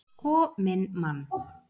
Sko minn mann!